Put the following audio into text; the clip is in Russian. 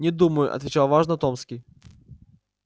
не думаю отвечал важно томский